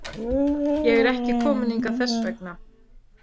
Ég er ekki kominn hingað þess vegna.